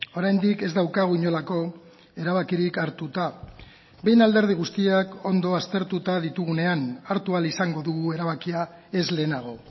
oraindik ez daukagu inolako erabakirik hartuta behin alderdi guztiak ondo aztertuta ditugunean hartu ahal izango dugu erabakia ez lehenago